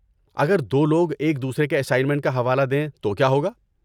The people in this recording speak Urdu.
اگر دو لوگ ایک دوسرے کے اسائنمنٹ کا حوالہ دیں تو کیا ہوگا؟